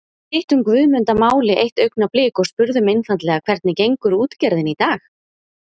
Við hittum Guðmund að máli eitt augnablik og spurðum einfaldlega hvernig gengur útgerðin í dag?